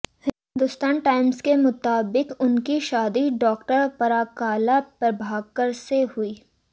Hindustan Times के मुताबिक उनकी शादी डॉक्टर पराकाला प्रभाकर से हुई